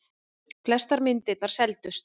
Flestar myndirnar seldust.